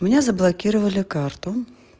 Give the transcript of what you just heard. у меня заблокировали карту